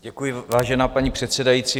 Děkuji, vážená paní předsedající.